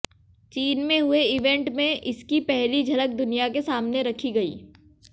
चीन में हुए इवेंट में इसकी पहली झलक दुनिया के सामने रखी गई